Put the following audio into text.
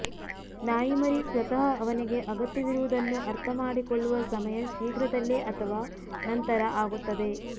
ನಾಯಿಮರಿ ಸ್ವತಃ ಅವನಿಗೆ ಅಗತ್ಯವಿರುವದನ್ನು ಅರ್ಥಮಾಡಿಕೊಳ್ಳುವ ಸಮಯ ಶೀಘ್ರದಲ್ಲೇ ಅಥವಾ ನಂತರ ಆಗುತ್ತದೆ